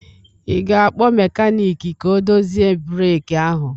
Ị ga-akpọ mekanịkị ka ọ dozie breeki ahụ?